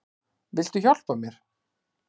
Viltu hjálpa mér?